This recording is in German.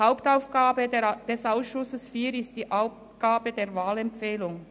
Hauptaufgabe des Ausschusses IV ist die Abgabe der Wahlempfehlung.